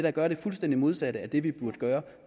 at gøre det fuldstændig modsatte af det vi burde gøre